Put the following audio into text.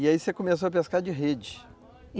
E aí você começou a pescar de rede?